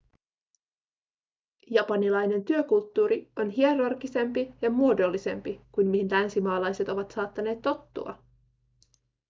japanilainen työkulttuuri on hierarkisempi ja muodollisempi kuin mihin länsimaalaiset ovat saattaneet tottua